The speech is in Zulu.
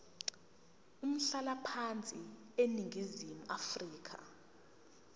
umhlalaphansi eningizimu afrika